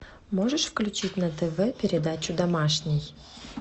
можешь включить на тв передачу домашний